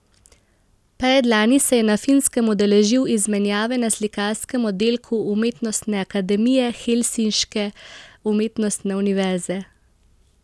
Predlani se je na Finskem udeležil izmenjave na slikarskem oddelku umetnostne akademije helsinške umetnostne univerze.